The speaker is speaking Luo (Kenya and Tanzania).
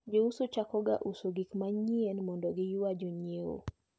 Jouso chakoga uso gikmanyien mondo giywa jonyiewo.